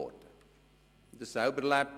Ich habe es selber erlebt.